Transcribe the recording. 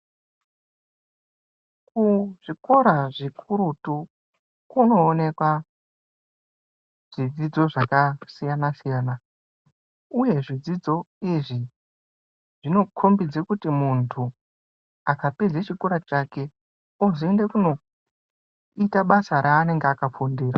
Kuzvikora zvikurutu, kunooneka zvidzidzo zvakasiyana-siyana, uye zvidzidzo izvi ,zvinokhombidze kuti muntu ,akapedze chikora chake, ozoende kunoita basa raanenge akafunndira.